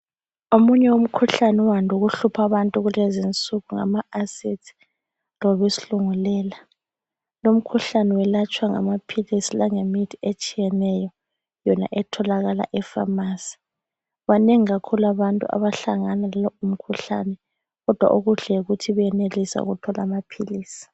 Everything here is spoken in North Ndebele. Omunye umkhuhlane owande ukuhlupha abantu kulezi insuku ngama acids loba isilungulela , lomkhuhlane welatshwa ngamaphilisi langemithi etshiyeneyo yona etholaka e pharmacy , banengi kakhulu abantu abahlangana lalowu umkhuhlane kodwa okuhle yikuthi bayenelisa ukuthola amaphilisi